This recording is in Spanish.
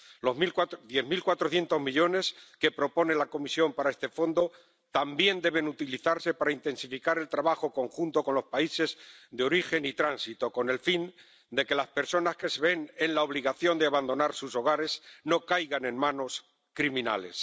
Los diez mil cuatrocientos millones que propone la Comisión para este Fondo también deben utilizarse para intensificar el trabajo conjunto con los países de origen y de tránsito, con el fin de que las personas que se ven en la obligación de abandonar sus hogares no caigan en manos criminales.